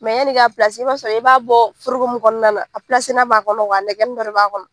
yani i ka i b'a sɔrɔ i b'a bɔ foroko mun kɔnɔna na , a b'a kɔnɔ nɛkɛnin dɔ de b'a kɔnɔ.